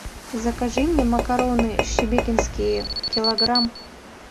закажи мне макароны шебекинские килограмм